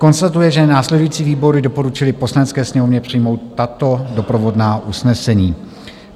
Konstatuje, že následující výbory doporučily Poslanecké sněmovně přijmout tato doprovodná usnesení.